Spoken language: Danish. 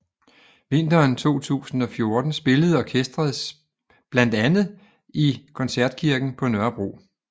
Vinteren 2014 spillede orkesteret bland andet i Koncertkirken på Nørrebro